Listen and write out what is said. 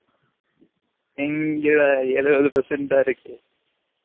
எங்க டா எலுவது percent தான் இருக்கு